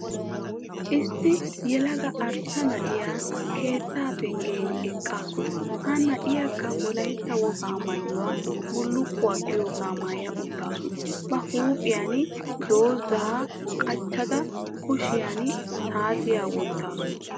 Issi yelaga arssa na'iya keettaa penggen eqqaasu. Ha na'iyakka wolaytta wogaa maayuwa bullukkuwa giyogaa maaya uttaasu. Ba huuphiyan dungguzaa qacada kushiyan saatiyakka wottaasu.